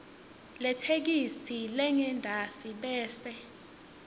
letheksthi lengentasi bese